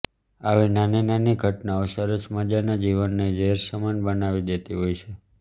આવી નાની નાની ઘટનાઓ સરસ મઝાનાં જીવનને ઝેર સમાન બનાવી દેતી હોય છે